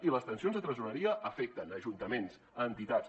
i les tensions de tresoreria afecten ajuntaments entitats